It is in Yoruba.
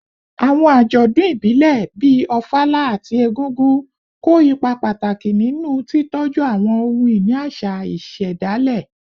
Àwọn àjọ̀dún ìbílẹ̀, bíi Ofala àti Egúngún, kó ipa pàtàkì nínú títọ́jú àwọn ohun-ìní àṣà ìṣẹ̀dálẹ̀